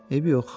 Eybi yox.